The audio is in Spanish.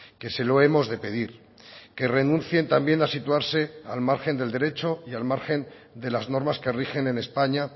que se lo hemos de pedir que renuncien también a situarse al margen del derecho y al margen de las normas que rigen en españa